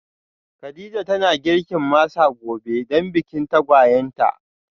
Kadija tana girkin masa gobe dan bikin tagwayen ta